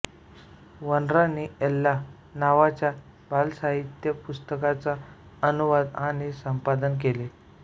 Vanrani Elsa नावाच्या बालसाहित्य पुस्तकाचा अनुवाद आणि संपादन केले